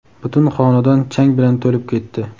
butun xonadon chang bilan to‘lib ketdi.